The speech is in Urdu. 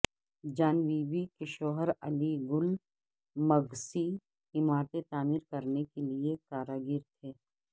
جان بی بی کے شوہر علی گل مگسی عمارتیں تعمیر کرنے کے کاریگر تھے